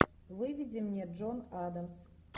выведи мне джон адамс